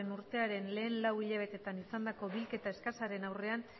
urtearen lehen lau hiletan izandako bilketa eskasaren aurrean